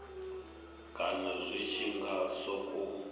kana zwi tshi nga sokou